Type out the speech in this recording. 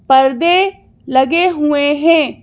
पर्दे लगे हुए हैं।